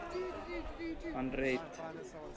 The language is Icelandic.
Hann reit